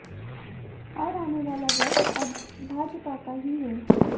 और आने वाला वक्त अब भाजपा का ही है